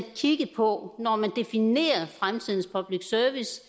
kigge på når man definerer fremtidens public service